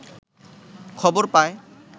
খবর পায়